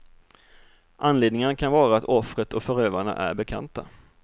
Anledningarna kan vara att offret och förövarna är bekanta.